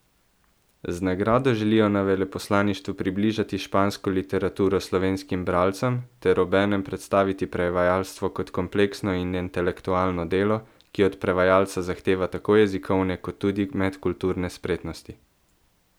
Z nagrado želijo na veleposlaništvu približati špansko literature slovenskim bralcem ter obenem predstaviti prevajalstvo kot kompleksno in intelektualno delo, ki od prevajalca zahteva tako jezikovne kot tudi medkulturne spretnosti.